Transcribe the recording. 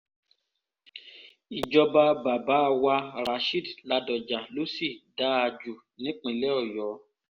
ìjọba bàbá wa rasheed ladoja ló sì dáa jù nípìnlẹ̀ ọ̀yọ́